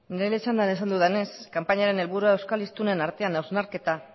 nere txandan esan dudanez kanpainaren helburua euskal hiztunen artean hausnarketa